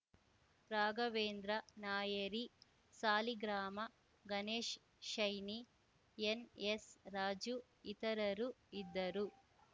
Raghavendra Nayari Saligrama Ganesh shiny N S Raju ಇತರರು ಇದ್ದರು